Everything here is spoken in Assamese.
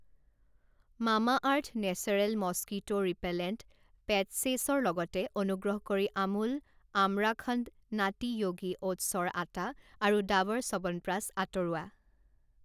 Mamaearth natural mosquito repellent patches ৰ লগতে অনুগ্ৰহ কৰি আমুল আমৰাখণ্ড, নাটী য়োগী অ'টছৰ আটা আৰু ডাৱৰ চ্যৱনপ্ৰাচ আঁতৰোৱা।